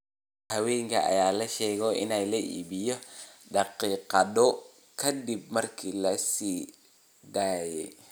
Tigidhada haweenka ayaa la sheegay in la iibiyay daqiiqado kadib markii la sii daayay.